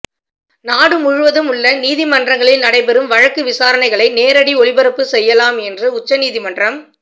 நாடு முழுவதும் உள்ள நீதிமன்றங்களில் நடைபெறும் வழக்கு விசாரணைகளை நேரடி ஒளிபரப்பு செய்யலாம் என்று உச்சநீதிமன்றம்